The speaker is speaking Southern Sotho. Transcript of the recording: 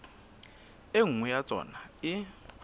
e nngwe ya tsona e